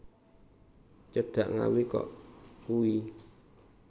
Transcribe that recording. Cedhak Ngawi kok kui